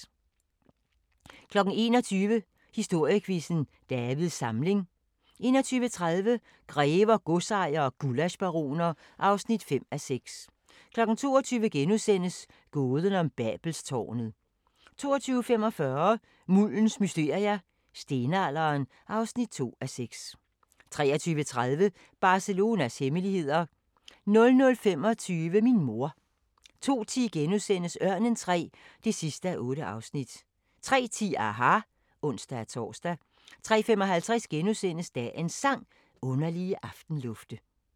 21:00: Historiequizzen: Davids Samling 21:30: Grever, godsejere og gullaschbaroner (5:6) 22:00: Gåden om Babelstårnet * 22:45: Muldens mysterier - Stenalderen (2:6) 23:30: Barcelonas hemmeligheder 00:25: Min mor 02:10: Ørnen III (8:8)* 03:10: aHA! (ons-tor) 03:55: Dagens Sang: Underlige aftenlufte *